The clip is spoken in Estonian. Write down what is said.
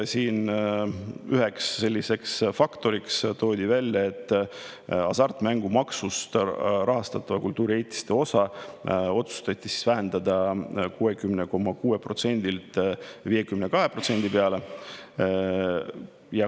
Siin toodi ühe sellise faktorina välja, et kultuuriehitiste hasartmängumaksust rahastatavat osa otsustati vähendada 60,6%‑lt 52% peale.